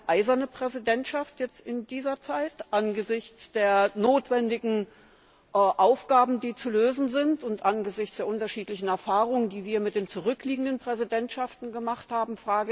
Wird das eine eiserne Präsidentschaft, jetzt in dieser Zeit, angesichts der notwendigen Aufgaben, die zu lösen sind, und angesichts der unterschiedlichen Erfahrungen, die wir mit den zurückliegenden Präsidentschaften gemacht haben?